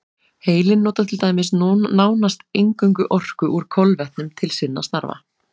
Heilinn notar til dæmis nánast eingöngu orku úr kolvetnum til sinna stafa.